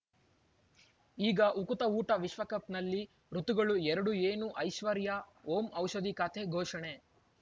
ಈಗ ಉಕುತ ಊಟ ವಿಶ್ವಕಪ್‌ನಲ್ಲಿ ಋತುಗಳು ಎರಡು ಏನು ಐಶ್ವರ್ಯಾ ಓಂ ಔಷಧಿ ಖಾತೆ ಘೋಷಣೆ